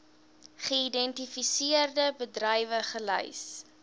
geïdentifiseerde bedrywe gelys